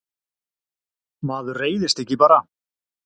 maður reiðist ekki bara